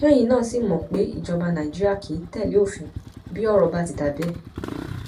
ṣẹyìn náà sì mọ pé ìjọba nàìjíríà kì í tẹlé òfin bí ọrọ bá ti dà bẹẹ